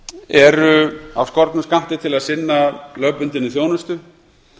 eru af skornum skammti til að sinna lögbundinni þjónustu